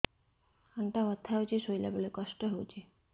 ଅଣ୍ଟା ବଥା ହଉଛି ଶୋଇଲା ବେଳେ କଷ୍ଟ ହଉଛି